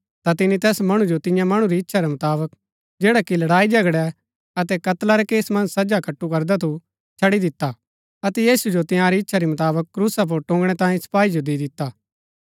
ता तिनी तैस मणु जो तियां मणु री इच्छा रै मुताबक जैडा कि लड़ाईझगड़ै अतै कत्ला रै केस मन्ज सजा कट्‍टू करदा थू छड़ी दिता अतै यीशु जो तिआंरी इच्छा री मुताबक क्रूसा पुर टुंगणै तांई सपाई जो दी दिता